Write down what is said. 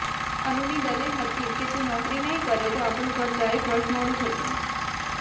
અનુની દલીલ હતી કે તુ નોકરી નહીં કરે તો આપણું ઘર ચારેક વર્ષ મોડું થશે